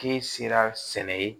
K'i sera sɛnɛ ye